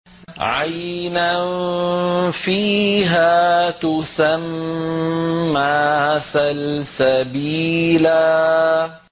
عَيْنًا فِيهَا تُسَمَّىٰ سَلْسَبِيلًا